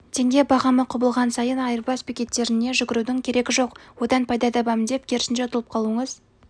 теңге бағамы құбылған сайын айырбас бекеттеріне жүгірудің керегі жоқ одан пайда табамын деп керісінше ұтылып қалуыңыз